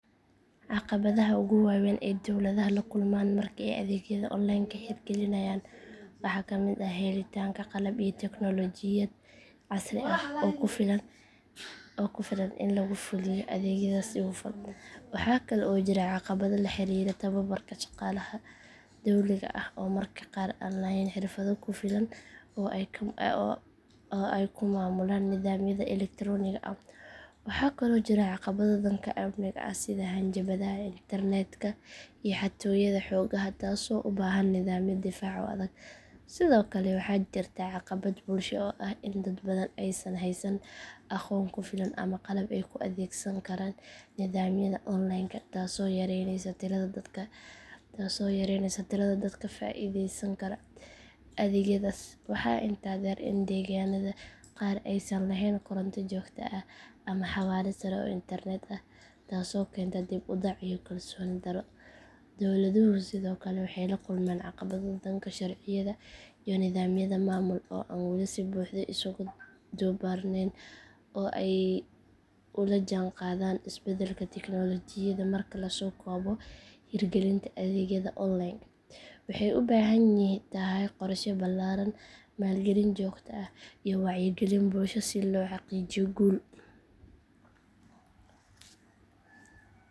Caqabadaha ugu waaweyn ee dowladaha la kulmaan marka ay adeegyada onlineka hirgelinayaan waxaa ka mid ah helitaanka qalab iyo tiknoolajiyad casri ah oo ku filan in lagu fuliyo adeegyadaas si hufan. Waxa kale oo jira caqabado la xiriira tababarka shaqaalaha dowliga ah oo mararka qaar aan lahayn xirfado ku filan oo ay ku maamulaan nidaamyada elektaroonigga ah. Waxaa kaloo jiro caqabado dhanka amniga ah sida hanjabaadaha internetka iyo xatooyada xogaha taasoo u baahan nidaamyo difaac oo adag. Sidoo kale waxaa jirta caqabad bulsho oo ah in dad badan aysan haysan aqoon ku filan ama qalab ay ku adeegsan karaan nidaamyada onlineka taasoo yareyneysa tirada dadka ka faa’iideysan kara adeegyadaas. Waxaa intaa dheer in deegaannada qaar aysan lahayn koronto joogto ah ama xawaare sare oo internet ah taasoo keenta dib u dhac iyo kalsooni darro. Dowladuhu sidoo kale waxay la kulmaan caqabado dhanka sharciyada iyo nidaamyada maamul oo aan weli si buuxda isugu dubbarneyn si ay ula jaanqaadaan isbedelka tiknoolajiyadda. Marka la soo koobo hirgelinta adeegyada onlineka waxay u baahan tahay qorshe ballaaran, maalgelin joogto ah iyo wacyigelin bulsho si loo xaqiijiyo guul waarta.